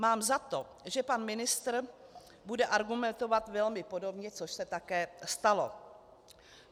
Mám za to, že pan ministr bude argumentovat velmi podobně, což se také stalo.